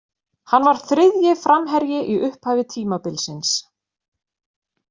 Hann var þriðji framherji í upphafi tímabilsins.